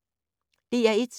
DR1